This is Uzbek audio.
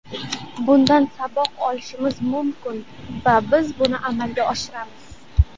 Bundan saboq olishimiz mumkin va biz buni amalga oshiramiz.